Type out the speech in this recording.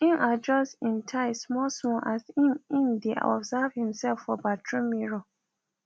im adjust im tie small small as im im dae observe himself for bathroom mirror